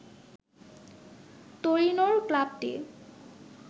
তোরিনোর ক্লাবটি